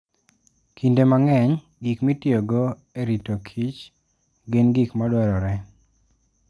Kinde mang'eny, gik mitiyogo e rito kich gin gik madwarore.